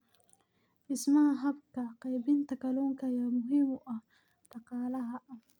Dhismaha habka qaybinta kalluunka ayaa muhiim u ah dhaqaalaha.